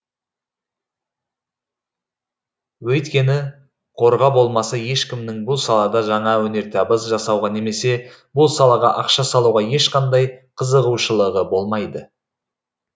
өйткені қорға болмаса ешкімнің бұл салада жаңа өнертабыс жасауға немесе бұл салаға ақша салуға ешқандай қызығушылығы болмайды